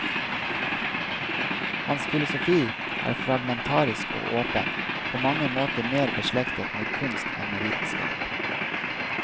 Hans filosofi er fragmentarisk og åpen, på mange måter mer beslektet med kunst enn med vitenskap.